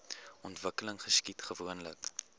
ontwikkeling geskied gewoonlik